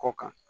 Kɔ kan